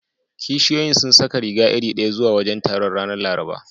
Kishiyoyin sun saka riga iri ɗaya zuwa wajen taron, ranar Laraba.